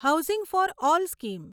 housing for all scheme